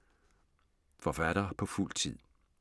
Forfatter på fuld tid